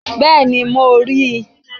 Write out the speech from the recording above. Bẹ́ẹ̀ni, mo ri i